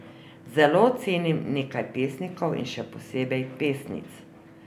Zelo cenim nekaj pesnikov in če posebej pesnic.